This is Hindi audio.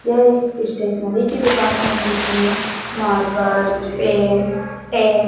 यह एक स्टेशनरी की दुकान है जिसमें मार्कर्स पेन टेप